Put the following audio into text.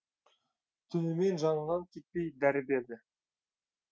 түнімен жанынан кетпей дәрі берді